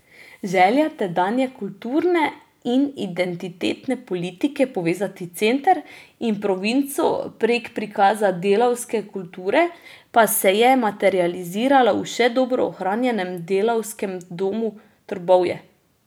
Želja tedanje kulturne in identitetne politike povezati center in provinco prek prikaza delavske kulture pa se je materializirala v še dobro ohranjenem Delavskem domu Trbovlje.